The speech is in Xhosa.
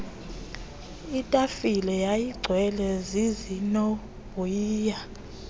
itafile yayigcwele zizinovoyiya